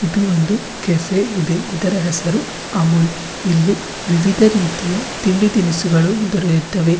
ಇದು ಒಂದು ಕೆಫೆ ಇದೆ ಇದರ ಹೆಸರು ಅಮೂಲ್ ಇಲ್ಲಿ ವಿವಿಧ ರೀತಿಯ ತಿಂಡಿ ತಿನಿಸುಗಳು ದೊರೆಯುತ್ತವೆ.